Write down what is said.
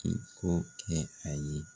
I k'o kɛ a ye.